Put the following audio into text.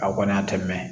A kɔni a tɛ mɛn